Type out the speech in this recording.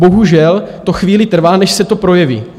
Bohužel to chvíli trvá, než se to projeví.